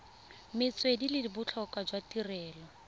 metswedi le botlhokwa jwa tirelo